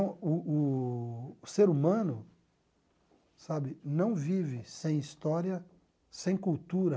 O o o ser humano sabe não vive sem história, sem cultura.